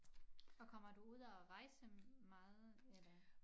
Og kommer du ud at rejse meget eller